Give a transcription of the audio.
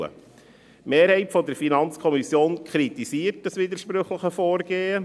Die Mehrheit der FiKo kritisiert dieses widersprüchliche Vorgehen.